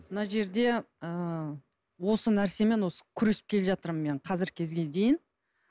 мына жерде ыыы осы нәрсемен осы күресіп келе жатырмын мен қазіргі кезге дейін